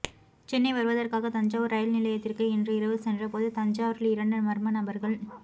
சென்னை வருவதற்காக தஞ்சாவூர் ரயில் நிலையத்திற்கு இன்று இரவு சென்றபோது தஞ்சாவூரில் இரண்டு மர்ம நபர்கள்